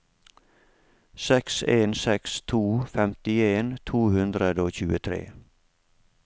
seks en seks to femtien to hundre og tjuetre